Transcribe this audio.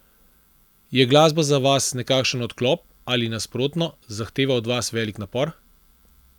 Je glasba za vas nekakšen odklop ali, nasprotno, zahteva od vas velik napor?